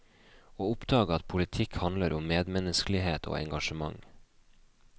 Å oppdage at politikk handler om medmenneskelighet og engasjement.